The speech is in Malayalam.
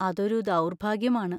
അതൊരു ദൗർഭാഗ്യമാണ്.